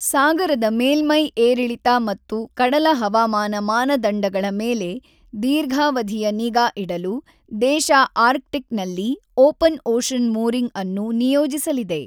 ಸಾಗರದ ಮೇಲ್ಮೈ ಏರಿಳಿತ ಮತ್ತು ಕಡಲ ಹವಾಮಾನ ಮಾನದಂಡಗಳ ಮೇಲೆ ದೀರ್ಘಾವಧಿಯ ನಿಗಾ ಇಡಲು ದೇಶ ಆರ್ಕ್ಟಿಕ್ ನಲ್ಲಿ ಓಪನ್ ಒಷನ್ ಮೂರಿಂಗ್ ಅನ್ನು ನಿಯೋಜಿಸಲಿದೆ.